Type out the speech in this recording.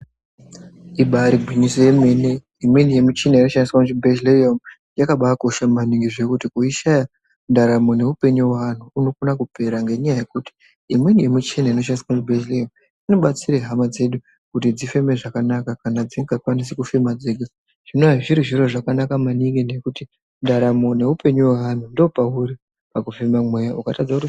Ibaari gwinyiso remene imweni yemuchina yakushandiswa muchibhehlera umwo yakabakosha maningi zvekuti kuishaya ndaramo neupenyu hwevanthu hunokona kupera ngenyaya yekuti imweni yemuchina inoshandiswa inobatsire hama dzedu kuti dzifeme zvakanaka kana dzisikachakwanisi kufema dzega chinova chiri chiro chakanaka ngekuti ndaramo neupenyu hwaanhu ndopauri pakufema mweya.